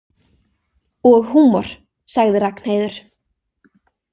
Og húmor, sagði Ragnheiður.